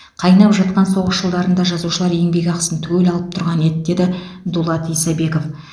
қайнап жатқан соғыс жылдарында жазушылар еңбекақысын түгел алып тұрған еді деді дулат исабеков